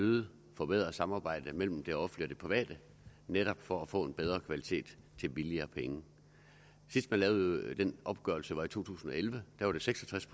øget forbedret samarbejde mellem det offentlige og det private netop for at få en bedre kvalitet til billigere penge sidst man lavede den opgørelse var i to tusind og elleve da var det seks og tres